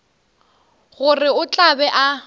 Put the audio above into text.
gore o tla be a